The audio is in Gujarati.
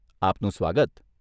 આપનું સ્વાગત.